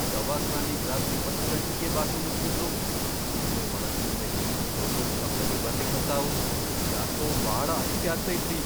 ದವಾಖಾನಿಗ್ ರಾತ್ರಿ ಹತ್ತ್ ಗಂಟಿಗೇ ಬಾಕ್ಲು ಮುಚ್ಬಿಟ್ರು. ಆದ್ರೆ ಒಳಗ್ನಿಂದ ಏನೋ ದೊಡ್ದೊಡ್ ಶಬ್ದಗಳ್ ಬರ್ಲಿಕ್ ಹತ್ತಾವು. ಯಾಕೋ ಭಾಳ ಅಂಜ್ಕೆ ಆಗ್ತೈತ್ರಿ.